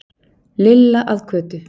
Lilla að Kötu.